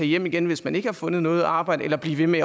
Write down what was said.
hjem igen hvis man ikke har fundet noget arbejde eller blive ved med